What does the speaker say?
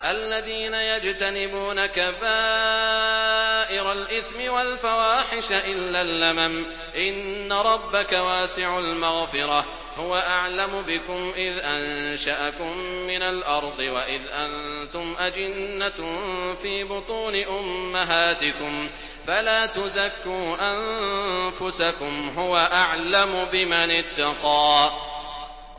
الَّذِينَ يَجْتَنِبُونَ كَبَائِرَ الْإِثْمِ وَالْفَوَاحِشَ إِلَّا اللَّمَمَ ۚ إِنَّ رَبَّكَ وَاسِعُ الْمَغْفِرَةِ ۚ هُوَ أَعْلَمُ بِكُمْ إِذْ أَنشَأَكُم مِّنَ الْأَرْضِ وَإِذْ أَنتُمْ أَجِنَّةٌ فِي بُطُونِ أُمَّهَاتِكُمْ ۖ فَلَا تُزَكُّوا أَنفُسَكُمْ ۖ هُوَ أَعْلَمُ بِمَنِ اتَّقَىٰ